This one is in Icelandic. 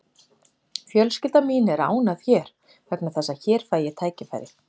Fjölskylda mín er ánægð hér vegna þess að hér fæ ég tækifæri.